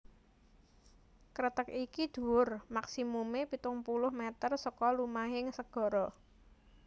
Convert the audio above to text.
Kreteg iki dhuwur maksimumé pitung puluh mèter saka lumahing segara